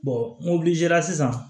n sisan